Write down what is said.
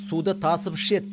суды тасып ішеді